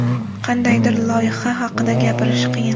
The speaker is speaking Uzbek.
Qandaydir loyiha haqida gapirish qiyin.